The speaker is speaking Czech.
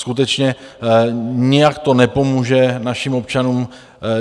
Skutečně nijak to nepomůže našim občanům.